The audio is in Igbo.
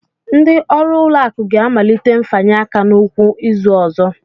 Ndị ọrụ ụlọakụ ga-amalite mfanye aka n'ụkwụ izu ọzọ